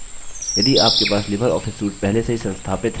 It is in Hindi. यदि आपके पास लिबर ऑफिस suite पहले से ही संस्थापित हैः